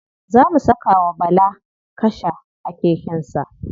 Za mu saka wa bala kasha a keken sa.